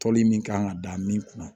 Tɔli min kan ka da min kunna